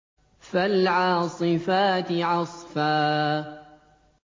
فَالْعَاصِفَاتِ عَصْفًا